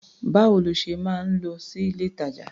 Báwo lo ṣe máa ń lọ sí ilé-ìtàjà tó?